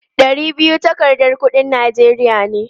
Ɗari biyu takardar kuɗin Najeriya ne.